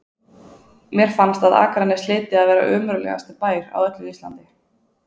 Mér fannst að Akranes hlyti að vera ömurlegasti bær á öllu Íslandi.